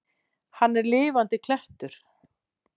Hann er lifandi klettur.